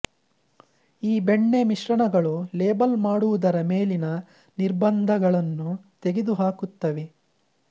ಈ ಬೆಣ್ಣೆ ಮಿಶ್ರಣಗಳು ಲೇಬಲ್ ಮಾಡುವುದರ ಮೇಲಿನ ನಿರ್ಬಂಧಗಳನ್ನು ತೆಗೆದುಹಾಕುತ್ತವೆ